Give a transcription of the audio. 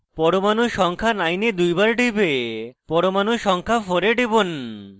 পরমাণু সংখ্যা 9 এ দুইবার টিপে পরমাণু সংখ্যা 4 এ টিপুন